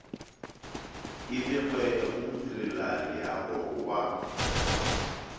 e begwe go modirelaleago wa